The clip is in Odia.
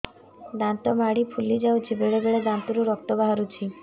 ଦାନ୍ତ ମାଢ଼ି ଫୁଲି ଯାଉଛି ବେଳେବେଳେ ଦାନ୍ତରୁ ରକ୍ତ ବାହାରୁଛି